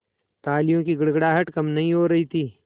तालियों की गड़गड़ाहट कम नहीं हो रही थी